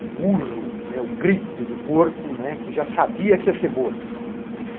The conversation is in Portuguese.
o urro, né, o grito do porco, né, que já sabia que ia ser morto, né.